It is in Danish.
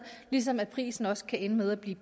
ligesom prisen også kan ende med at blive